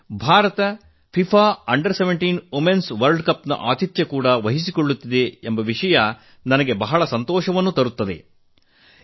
ಭಾರತ 17 ವರ್ಷದೊಳಗಿನವರ ಮಹಿಳಾ ವಿಶ್ವಕಪ್ ನ ಆತಿಥ್ಯ ವಹಿಸುತ್ತಿದೆ ಎಂಬ ವಿಷಯ ನನಗೆ ಆನಂದವನ್ನುಂಟು ಮಾಡಿದೆ